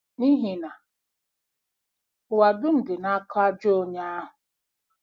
N’ihi na “ụwa dum dị n’aka ajọ onye ahụ.”